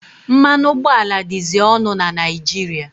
Mmanụ ụgbọala dịzị ọnụ na Naijiria.